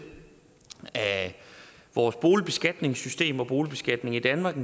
vores boligbeskatningssystem og boligbeskatningen i danmark